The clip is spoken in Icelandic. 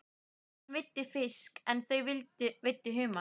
Hann veiddi fisk en þau veiddu humar.